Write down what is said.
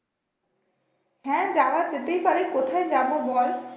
হ্যাঁ যাওয়া যেতেই পারে কোথায় যাবো বল?